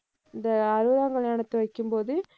இந்த அறுவதாம் கல்யாணத்தை வைக்கும்போது